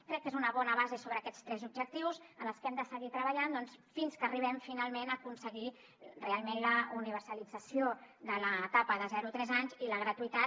crec que és una bona base sobre aquests tres objectius en els que hem de seguir treballant fins que arribem finalment a aconseguir realment la universalització de l’etapa de zero a tres anys i la gratuïtat